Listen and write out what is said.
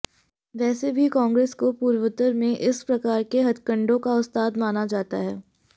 वैसे भी कांग्रेस को पूर्वोत्तर में इस प्रकार के हथकंडों का उस्ताद माना जाता है